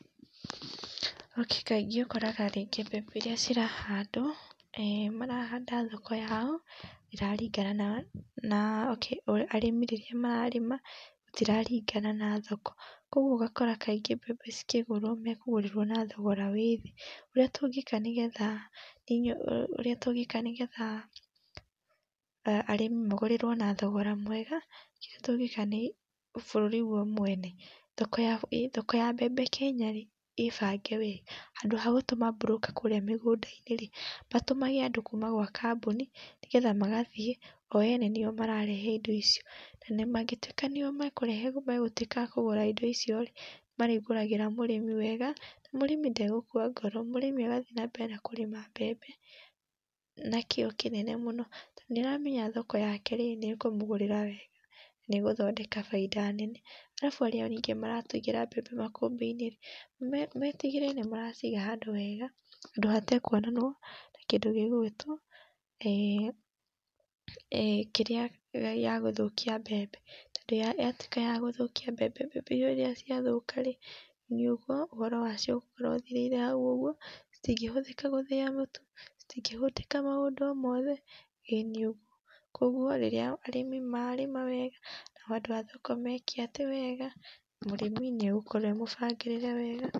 Kaĩngĩ ũkoraga rĩngĩ mbembe iria cirahandwo marahanda thoko yao iraringana na, arĩmi rĩrĩa mararima gũtiraringana na thoko kwaũguo ũgakora kaĩngĩ mbembe cĩkĩgũrwo mekũgũrĩrwo na thogora wĩ thĩĩ. Ũrĩa tũngĩka nĩgetha, ũrĩa tũngĩka nĩgetha arĩmi magũrĩrwo na thogora mwega kĩrĩa tũngĩka nĩ bũrũri gwo mwene thoko ya mbembe Kenya rĩ ĩbange we handũ ha gũtũma broker kũrĩa mĩgũnda-inĩ, matũmage andũ kũma gwa kambuni nĩgetha magathie o ene nio mararehe indo icio. Na mangĩtũĩka nio mekũrehe megũtwĩka a kũgũra indo icio nĩmarĩgũragĩra mũrĩmi wega na mũrĩmi nde gũkwa ngoro mũrĩmi agathĩi na mbere na kũrĩma mbembe na kio kinene mũno to nĩaramenya thoko yake rĩ nĩ ĩkũmũgũrĩra wega nĩegũthondeka bainda nene. Arabu arĩa maratũigĩra mbembe makũmbĩ-inĩ rĩ matĩgĩrĩre nĩmaraciga handũ hega handũ hatekũonanwo na kĩndũ gĩgũgĩtwo kĩrĩa ya gũthũkia mbembe. Tondũ yatũĩka yagũthũkia mbembe mbembe rĩrĩa ciathũka rĩ, nĩ ũguo ũhoro wacio ũgũkorwo ũthĩrĩire hau ũguo citingĩhũthika gũthĩa mũtu citingĩhũthĩka maũndũ o mothe ĩĩnĩ ũguo. Koguo arĩmi marĩma wega nao andũ a thoko meke atĩ wega mũrĩmĩ nĩ egũkorwo e mũbangĩrĩre wega.